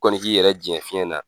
Kɔnnivi yɛrɛ jɛn fiɲƐna.